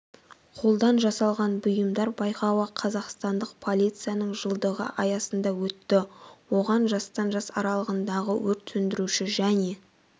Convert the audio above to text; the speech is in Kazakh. қолдан жасалған бұйымдар байқауы қазақстандық полицияның жылдығы аясында өтті оған жастан жас аралығындағы өрт сөндіруші және